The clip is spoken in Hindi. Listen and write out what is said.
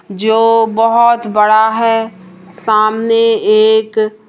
जो बहोत बड़ा है। सामने एक--